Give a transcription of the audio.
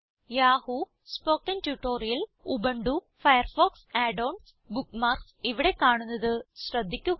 Yahoo spoken tutorial Ubuntu Firefox add ons bookmarks ഇവിടെ കാണുന്നത് ശ്രദ്ധിക്കുക